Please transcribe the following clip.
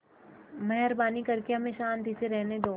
मेहरबानी करके हमें शान्ति से रहने दो